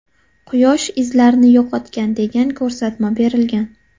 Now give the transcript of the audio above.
Quyosh izlarni yo‘qotgan, degan ko‘rsatma berilgan.